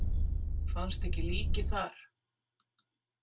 Fannst ekki líkið þar?